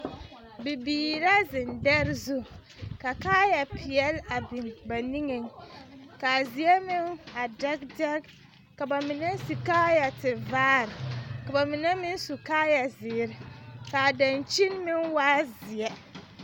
Bibiiri la zeŋ dɛre zu ka kaaya peɛle a biŋ ba niŋeŋ, ka a zie meŋ a dɛge dɛge, ka ba mine su kaaya tevaare, ka ba mine meŋ su kaaya zeere, ka a dankyini meŋ waa zeɛ